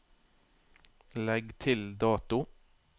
Legg til dato